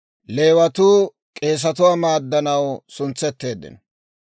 Med'inaa Goday Musa hawaadan yaageedda;